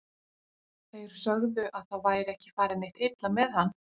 Þeir sögðu að það væri ekki farið neitt illa með hann.